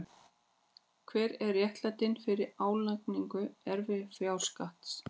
Hver er réttlætingin fyrir álagningu erfðafjárskatts?